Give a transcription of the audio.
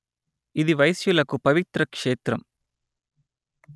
ఇది వైశ్యులకు పవిత్ర క్షేత్రం